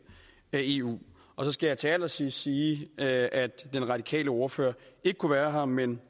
af eu så skal jeg til allersidst sige at at den radikale ordfører ikke kunne være her men